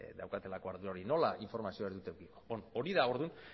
daukatelako ardura hori nola informazioa ez dute edukiko hori da orduan